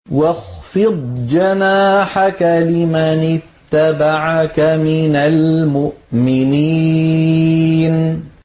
وَاخْفِضْ جَنَاحَكَ لِمَنِ اتَّبَعَكَ مِنَ الْمُؤْمِنِينَ